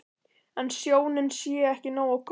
En sjónin sé ekki nógu góð.